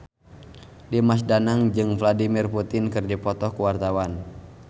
Dimas Danang jeung Vladimir Putin keur dipoto ku wartawan